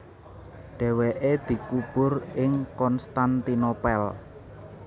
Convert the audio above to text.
Dhèwèké dikubur ing Konstantinopel